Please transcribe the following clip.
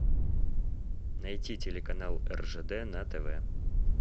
найти телеканал ржд на тв